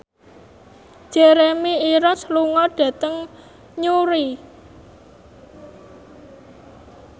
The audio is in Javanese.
Jeremy Irons lunga dhateng Newry